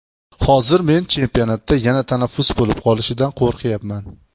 Hozir men chempionatda yana tanaffus bo‘lib qolishidan qo‘rqyapman.